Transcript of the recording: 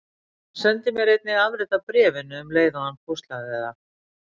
Hann sendi mér einnig afrit af bréfinu um leið og hann póstlagði það.